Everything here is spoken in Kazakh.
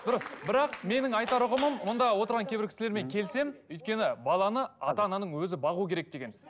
дұрыс бірақ менің айтар ұғымым мында отырған кейбір кісілермен келісемін өйткені баланы ата ананың өзі бағу керек деген